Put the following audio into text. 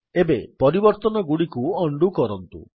ଏବେ ପରିବର୍ତ୍ତନଗୁଡିକୁ ଉଣ୍ଡୋ କରନ୍ତୁ